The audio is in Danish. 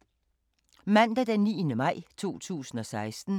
Mandag d. 9. maj 2016